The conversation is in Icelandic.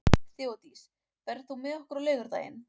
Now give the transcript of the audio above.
Þeódís, ferð þú með okkur á laugardaginn?